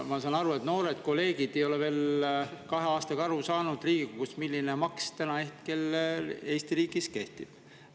Ma saan aru, et noored kolleegid Riigikogus ei ole veel kahe aastaga aru saanud, milline maks kellele täna Eesti riigis kehtib.